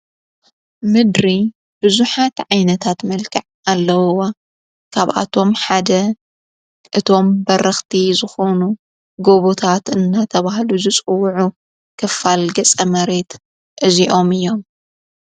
ምድሪ ብዙኃ ዓይነታት መልክዕ ኣለዉዋ ካብኣቶም ሓደ እቶም በርኽቲ ዘኾኑ ጐቡታት እናተብሃሉ ዘጽውዑ ክፋል ገጸ መሬት እዚኦም እዮም።